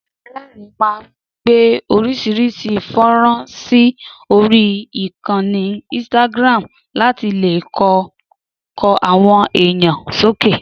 Dámiláre máa ń gbé orís̩irís̩i fó̩nrán sí orí ìkanni instagram láti lè kó o̩kàn àwo̩n èèyàn sókè